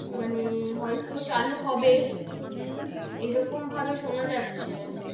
মানে হয়তো চালু হবে এরকম ভাবে সোনা যাচ্ছে,